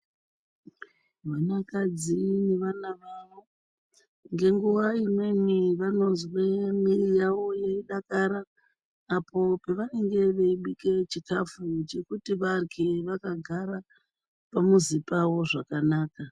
Vanakadzi nevana vavo ngenguwa imweni vanozwa mwiri yavo yeidakara apo pavanenge veibika chikafu chekuti varye vakagara pamuzi pavo zvakanaka.